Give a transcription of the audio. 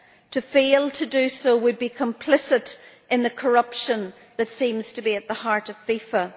To fail to do so would be complicit in the corruption that seems to be at the heart of FIFA.